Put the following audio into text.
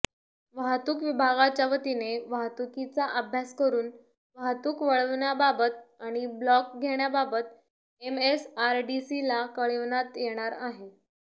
वाहतूक विभागाच्या वतीने वाहतुकीचा अभ्यास करून वाहतूक वळविण्याबाबत आणि ब्लॉक घेण्याबाबत एमएसआरडीसीला कळविण्यात येणार आहे